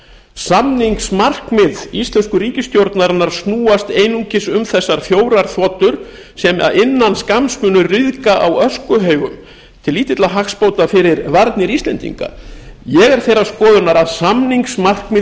samningsmarkmið íslensku ríkisstjórnarinnar snúast einungis um þessar fjórar þotur sem innan skamms munu ryðga á öskuhaugum til lítilla hagsbóta fyrir varnir íslendinga ég er þeirrar skoðunar að samningsmarkmið